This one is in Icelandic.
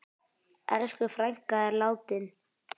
Elsku frænka er látin.